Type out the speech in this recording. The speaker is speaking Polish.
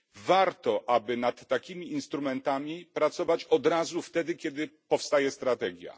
Warto, aby nad takimi instrumentami pracować od razu wtedy, kiedy powstaje strategia.